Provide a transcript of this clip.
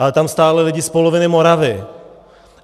Ale tam stáli lidi z poloviny Moravy.